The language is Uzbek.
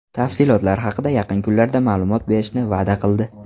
Tafsilotlar haqida yaqin kunlarda ma’lumot berishni va’da qildi.